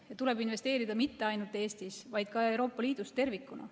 Ja tuleb investeerida mitte ainult Eestis, vaid ka Euroopa Liidus tervikuna.